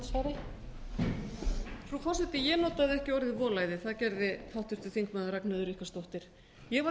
frú forseti ég notaði ekki orðið volæði það gerði háttvirtur þingmaður ragnheiður ríkharðsdóttir ég var